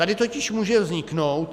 Tady totiž může vzniknout...